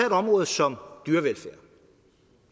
et område som dyrevelfærd